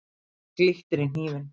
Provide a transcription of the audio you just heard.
Það glittir í hnífinn.